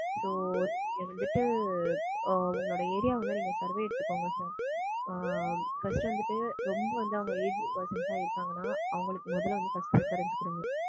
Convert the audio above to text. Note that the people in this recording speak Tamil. So இது வந்துட்டு ஆஹ் உங்க ஏரியாவ நீங்க survey எடுத்துக்கோங்க sir. ஆஹ் first வந்துட்டு ரெம்ப வந்து அவங்க aged persons சா இருந்தாங்கன்னா அவங்களுக்கு முதல வந்துட்டு first preference கொடுங்க.